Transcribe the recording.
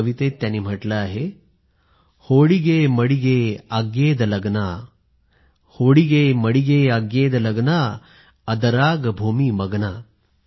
या कवितेत त्यांनी म्हटलं आहे होडिगे मडिगे आग्येद लग्ना अदराग भूमी मग्ना